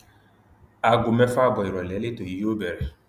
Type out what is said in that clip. aago mẹfà ààbọ ìrọlẹ lẹtọ yìí yóò bẹrẹ